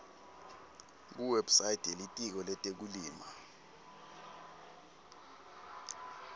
kuwebsite yelitiko letekulima